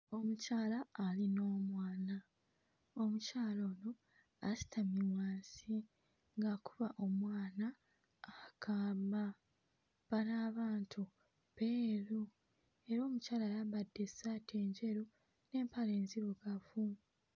Omukyala ali n'omwana, omukyala ono asitamye wansi ng'akuba omwana akaama. Bano abantu beeru era omukyala ayambadde essaati enjeru n'empale enzirugavu.